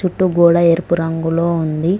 చుట్టూ గోడ ఎరుపు రంగులో ఉంది.